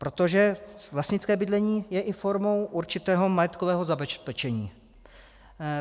Protože vlastnické bydlení je i formou určitého majetkového zabezpečení.